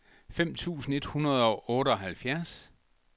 fem tusind et hundrede og otteoghalvfjerds